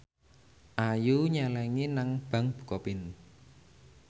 Ayu nyelengi nang bank bukopin